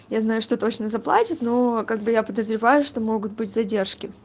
я знаю что точно заплатит но как бы я подозреваю что могут быть задержки